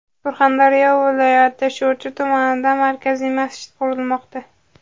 Surxondaryo viloyati Sho‘rchi tumanida markaziy masjid qurilmoqda.